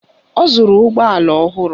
Ọ zụrụ ụgbọala ọhụrụ